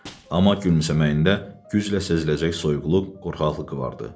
Amma gülümsəməyində güclə seziləcək soyuqluq, qorxaqlıq vardı.